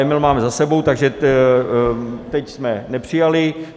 Emila máme za sebou, takže teď jsme nepřijali.